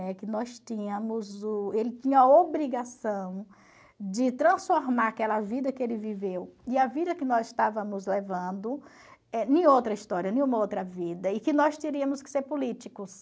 Né? Que nós tínhamos o... Ele tinha a obrigação de transformar aquela vida que ele viveu, e a vida que nós estávamos levando, eh em outra história, em uma outra vida, e que nós teríamos que ser políticos.